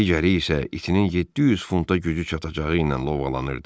Digəri isə itinin 700 funta gücü çatacağı ilə lovğalanırdı.